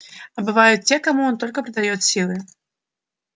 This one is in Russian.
а бывают те кому он только придаёт силы